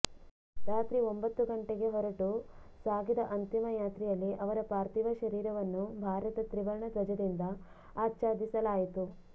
ರಾತ್ರಿ ಒಂಬತ್ತು ಗಂಟೆಗೆ ಹೊರಟು ಸಾಗಿದ ಅಂತಿಮ ಯಾತ್ರೆಯಲ್ಲಿ ಅವರ ಪಾಥಿರ್ವ ಶರೀರವನ್ನು ಭಾರತ ತ್ರಿವರ್ಣ ಧ್ವಜದಿಂದ ಆಚ್ಛಾದಿಸಲಾಯ್ತು